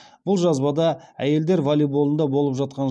бұл жазбада әйелдер волейболында болып жатқан